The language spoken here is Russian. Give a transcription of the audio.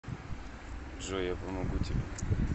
джой я помогу тебе